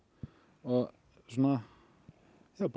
og svona bara